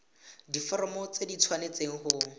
diforomo tse di tshwanesteng go